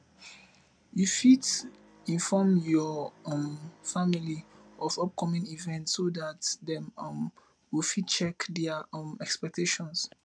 you fit inform your um family of upcoming events so dat dem um go fit check their um expectations